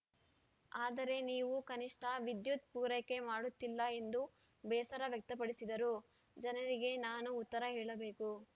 ಆದರೆ ನೀವು ಕನಿಷ್ಠ ವಿದ್ಯುತ್‌ ಪೂರೈಕೆ ಮಾಡುತ್ತಿಲ್ಲ ಎಂದು ಬೇಸರ ವ್ಯಕ್ತಪಡಿಸಿದರು ಜನರಿಗೆ ನಾನು ಉತ್ತರ ಹೇಳಬೇಕು